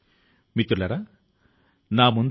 మిమ్మల్ని మీరు నమ్మండి